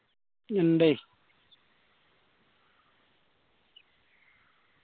ഇണ്ടേ